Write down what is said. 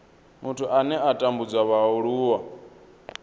muthu ane a tambudza vhaaluwa